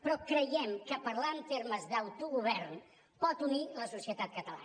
però creiem que parlar en termes d’autogovern pot unir la societat catalana